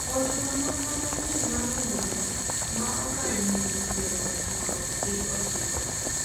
ochuno nonro manyieny mar winjruok ma okalo higni piero ochiko gi ochiko